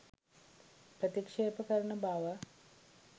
ප්‍රතික්ෂේප කරන බව